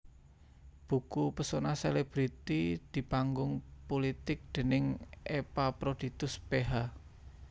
Buku Pesona Selebriti di Panggung Pulitik déning Epaphroditus Ph